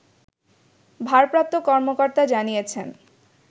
ভারপ্রাপ্ত কর্মকর্তা জানিয়েছেন